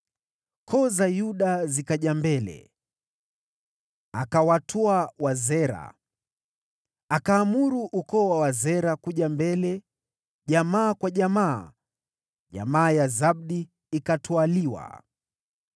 Koo za Yuda zikaja mbele, naye akawatwaa Wazera. Akaamuru ukoo wa Wazera kuja mbele jamaa kwa jamaa, nayo jamaa ya Zabdi ikatwaliwa.